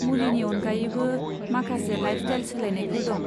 मुलिनि अनगायैबो, माखासे लाइफस्टाइल सोलायनायफोर दं।